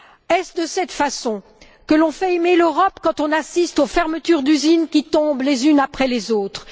Est ce de cette façon que l'on fait aimer l'Europe quand on assiste aux fermetures d'usines qui tombent les unes après les autres?